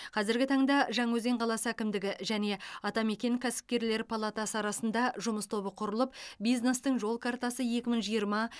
қазіргі таңда жаңаөзен қаласы әкімдігі және атамекен кәсіпкерлер палатасы арасында жұмыс тобы құрылып бизнестің жол картасы екі мың жиырма